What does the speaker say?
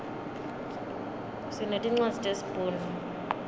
sinetincwadzi tesi bhunu